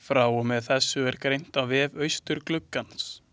Frá þessu er greint á vef Austurgluggans.